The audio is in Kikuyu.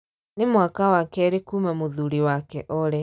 Nĩ mwaka wa kĩrĩ kuuma mũthurĩ wake oore